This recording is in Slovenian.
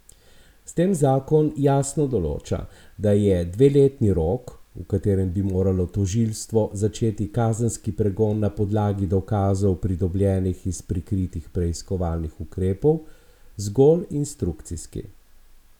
S tem zakon jasno določa, da je dveletni rok, v katerem bi moralo tožilstvo začeti kazenski pregon na podlagi dokazov, pridobljenih iz prikritih preiskovalnih ukrepov, zgolj instrukcijski.